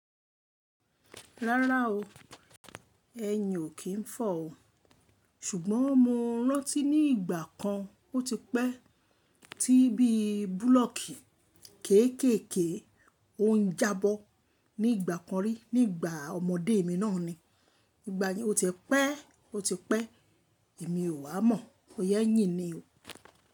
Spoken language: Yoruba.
Rárá o, ẹyin ò kí n fọ o. Ṣùgbọ́n mo rántí ní ìgbà kan ó ti pẹ́ tí bí búlọ̀kì kéékèèké ohun jábọ́ ní ìgbà kan rí nígbà ọmọdé mi náà ni. Ìgbà yẹn ó ti pẹ́, ó ti pẹ́ èmi ò wá mọ̀, bọ̀ya eyìn ni o.